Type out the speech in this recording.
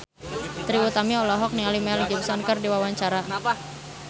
Trie Utami olohok ningali Mel Gibson keur diwawancara